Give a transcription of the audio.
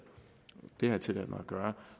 det har jeg tilladt mig at gøre